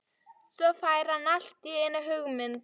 Svo fær hann allt í einu hugmynd.